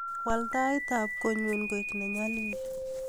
Wal taitab kotnyu koek nenyalil